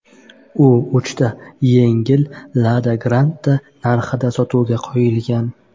U uchta yangi Lada Granta narxida sotuvga qo‘yilgan.